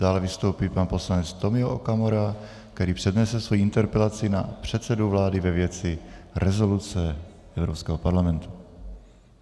Dále vystoupí pan poslanec Tomio Okamura, který přednese svoji interpelaci na předsedu vlády ve věci rezoluce Evropského parlamentu.